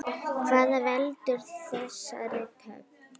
Hvað veldur þessari töf?